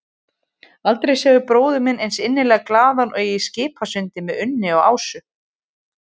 Aldrei sá ég bróður minn eins innilega glaðan og í Skipasundi með Unni og Ásu.